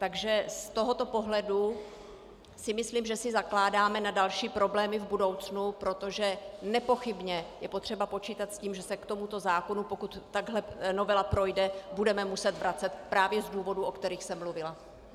Takže z tohoto pohledu si myslím, že si zakládáme na další problémy v budoucnu, protože nepochybně je potřeba počítat s tím, že se k tomuto zákonu, pokud takhle novela projde, budeme muset vracet právě z důvodů, o kterých jsem mluvila.